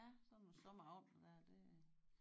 Ja sådan nogle sommeraftener der det øh